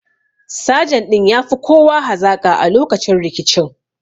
Sajan ɗin ya fi kowa hazaƙa a lokacin rikicin